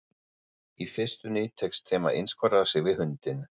Í fyrstunni tekst þeim að einskorða sig við hundinn.